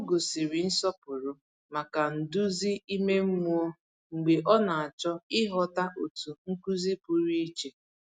Ọ gosiri nsọpụrụ maka nduzi ime mmụọ mgbe ọ na-achọ ịghọta otu nkuzi pụrụ iche.